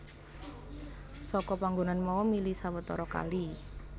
Saka panggonan mau mili sawetara kali